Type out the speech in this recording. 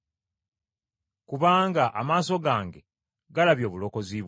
Kubanga amaaso gange galabye Obulokozi bwo,